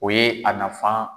O ye a nafan